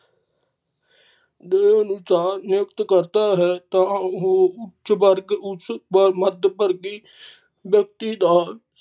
ਦੇ ਅਨੁਸਾਰ ਨਿਯੁਕਤ ਕਰਦਾ ਹੈ ਤਾ ਉਹ ਉੱਚ ਵਰਗ ਉਸ ਮੱਧ ਵਰਗੀ ਵਿਅਕਤੀ ਦਾ